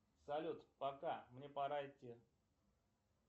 салют пока мне пора идти